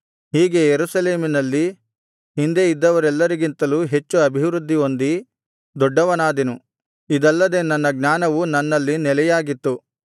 ಹೀಗೆ ಯೆರೂಸಲೇಮಿನಲ್ಲಿ ಹಿಂದೆ ಇದ್ದವರೆಲ್ಲರಿಗಿಂತಲೂ ಹೆಚ್ಚು ಅಭಿವೃದ್ಧಿಹೊಂದಿ ದೊಡ್ಡವನಾದೆನು ಇದಲ್ಲದೆ ನನ್ನ ಜ್ಞಾನವು ನನ್ನಲ್ಲಿ ನೆಲೆಯಾಗಿತ್ತು